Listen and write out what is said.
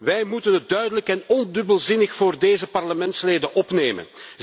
Wij moeten het duidelijk en ondubbelzinnig voor deze parlementsleden opnemen.